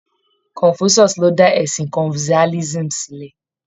Confucius ló dá ẹ̀sìn confucianism sílẹ